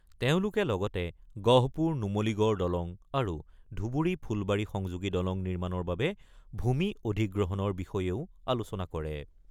তেওঁলোকে লগতে গহপুৰ-নুমলীগড় দলং আৰু ধুবুৰী-ফুলবাৰী সংযোগী দলং নিৰ্মাণৰ বাবে ভূমি অধিগ্ৰহণৰ বিষয়েও আলোচনা কৰে।